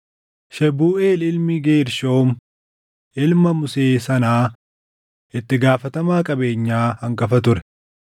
Shebuuʼeel ilmi Geershoom ilma Musee sanaa itti gaafatamaa qabeenyaa hangafa ture.